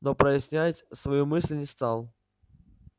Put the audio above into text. но прояснять свою мысль не стал